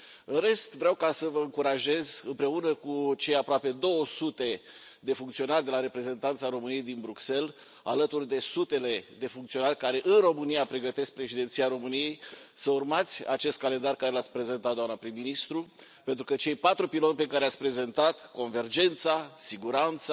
În rest, vreau să vă încurajez, împreună cu cei aproape 200 de funcționari de la Reprezentanța României din Bruxelles, alături de sutele de funcționari care, în România, pregătesc Președinția României, să urmați acest calendar pe care l ați prezentat, doamnă prim ministru, pentru că cei patru piloni pe care i ați prezentat convergența, siguranța,